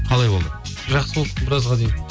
қалай болды жақсы болды біразға дейін